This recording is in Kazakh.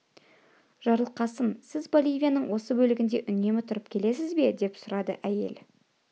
жарылқасын сіз боливияның осы бөлегінде үнемі тұрып келесіз бе деп сұрады әйел